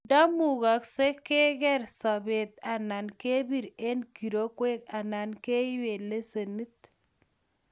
ndaimugasgei kegeer sobet anan kebiir eng kirokwee anan keipee lesenit